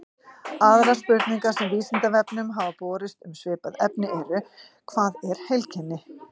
Aðrar spurningar sem Vísindavefnum hafa borist um svipað efni eru: Hvað er heilkenni?